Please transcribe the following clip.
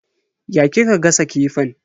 Ya kika gasa kifin?